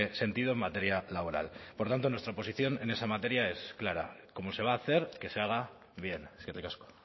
sentido en materia laboral por tanto nuestra posición en esa materia es clara como se va a hacer que se haga bien eskerrik asko